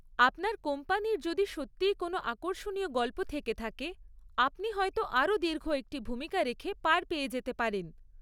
আপনার কোম্পানির যদি সত্যিই কোন আকর্ষণীয় গল্প থেকে থাকে, আপনি হয়তো আরও দীর্ঘ একটি ভূমিকা রেখে পার পেয়ে যেতে পারেন।